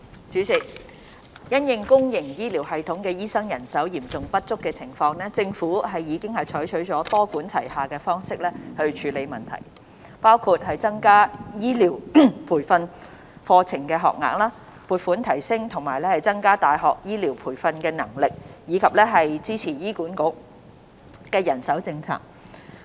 主席，因應公營醫療系統醫生人手嚴重不足的情況，政府已採取多管齊下的方式處理問題，包括增加醫療培訓課程學額、撥款提升和增加大學醫療培訓能力，以及支持醫院管理局的人手政策。